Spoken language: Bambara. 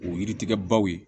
O yiri tigɛ baw ye